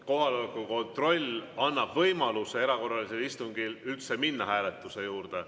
Kohaloleku kontroll annab võimaluse erakorralisel istungil üldse minna hääletuse juurde.